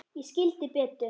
Ég skildi Betu.